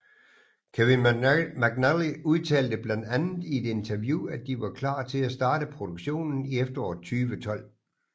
Kevin McNally udtalte blandt andet i et interview at de var klar til at starte produktionen i efteråret 2012